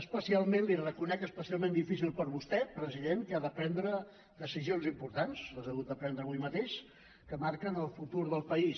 especialment li ho reconec especialment difícil per a vostè president que ha de prendre decisions importants les ha hagut de prendre avui mateix que marquen el futur del país